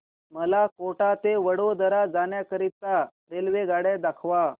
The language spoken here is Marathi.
मला कोटा ते वडोदरा जाण्या करीता रेल्वेगाड्या दाखवा